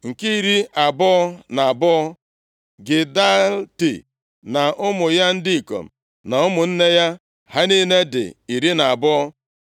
Nke iri abụọ na abụọ, Gidalti na ụmụ ya ndị ikom na ụmụnne ya. Ha niile dị iri na abụọ (12).